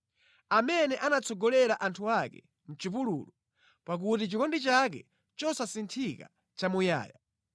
Amene anatsogolera anthu ake mʼchipululu pakuti chikondi chake chosasinthika nʼchamuyaya.